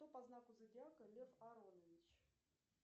кто по знаку зодиака лев аронович